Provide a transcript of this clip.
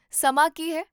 ਸਮਾਂ ਕੀ ਹੈ?